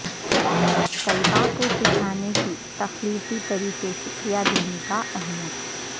طلباء کو سکھانے کے تخلیقی طریقے شکریہ دینے کا اہمیت